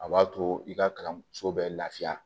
A b'a to i ka kalanso bɛ lafiya